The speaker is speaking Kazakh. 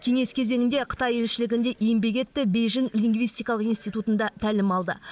кеңес кезеңінде қытай елшілігінде еңбек етті бейжің лингвистикалық институтында тәлім алды